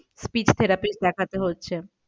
Speech therapy দেখাতে হচ্ছে।